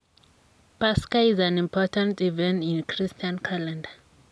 Paska is an important event in christian calendar.